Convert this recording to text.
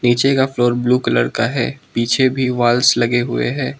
नीचे का floor blue colour का है पीछे भी वाल्स लगे हुए हैं।